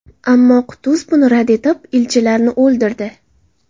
Ammo Qutuz buni rad qilib, elchilarni o‘ldirdi.